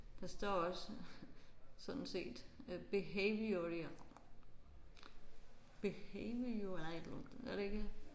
Der står også sådan set behavioral behavioral gør der ikke det?